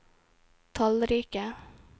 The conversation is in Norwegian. tallrike